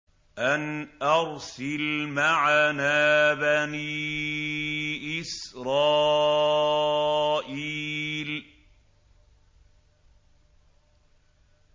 أَنْ أَرْسِلْ مَعَنَا بَنِي إِسْرَائِيلَ